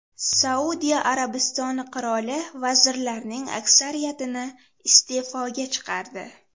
Saudiya Arabistoni qiroli vazirlarning aksariyatini iste’foga chiqardi.